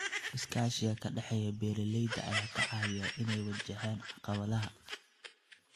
Iskaashiga ka dhexeeya beeralayda ayaa ka caawiya in ay wajahaan caqabadaha.